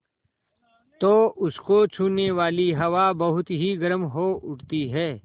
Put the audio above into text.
तो उसको छूने वाली हवा बहुत गर्म हो उठती है